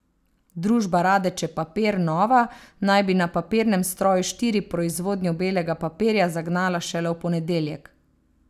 Družba Radeče papir nova naj bi na papirnem stroju štiri proizvodnjo belega papirja zagnala šele v ponedeljek.